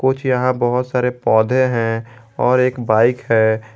कुछ यहां बहुत सारे पौधे हैं और एक बाइक है।